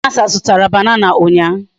Chinasa zutara banana unya